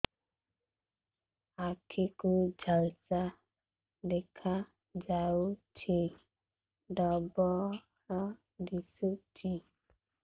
ଆଖି କୁ ଝାପ୍ସା ଦେଖାଯାଉଛି ଡବଳ ଦିଶୁଚି